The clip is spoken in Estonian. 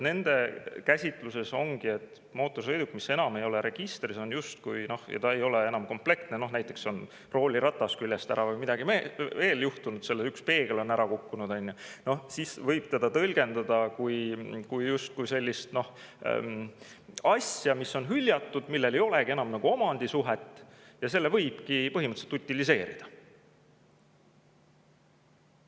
Nende käsitluses ongi, et mootorsõiduk, mis enam ei ole registris ja ei ole enam komplektne, näiteks on rooliratas küljest ära või on midagi veel juhtunud sellega, üks peegel on ära kukkunud, on ju, siis võib seda tõlgendada justkui sellise asjana, mis on hüljatud, mille puhul ei olegi enam omandisuhet, ja selle võibki põhimõtteliselt utiliseerida.